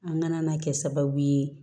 An ŋana kɛ sababu ye